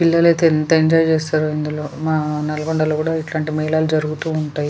పిల్లలు అయితే ఎంత ఎంజాయ్ చేస్తారో ఇందులో మ నల్గొండ లో కూడా ఎట్లాంటి మేళాలు జరుగుతూ ఉంటాయి.